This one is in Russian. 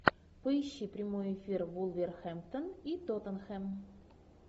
поищи прямой эфир вулверхэмптон и тоттенхэм